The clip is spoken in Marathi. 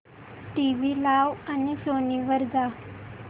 टीव्ही लाव आणि सोनी वर जा